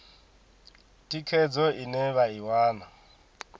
thikhedzo ine vha i wana